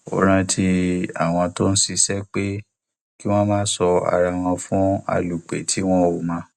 ó rántí àwọn tó ń ṣiṣẹ pé kí wọn má sọ ara wọn fún alúpẹ tí wọn ò mọ